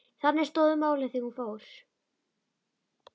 Þannig stóðu málin þegar hún fór.